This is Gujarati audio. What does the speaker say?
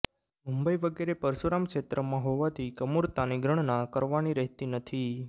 મુંબઈ વગેરે પરશુરામક્ષેત્રમાં હોવાથી કમૂરતાંની ગણના કરવાની રહેતી નથી